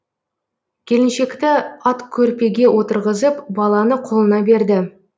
келіншекті аткөрпеге отырғызып баланы қолына берді